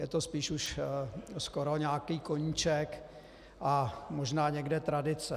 Je to spíše už skoro nějaký koníček a možná někde tradice.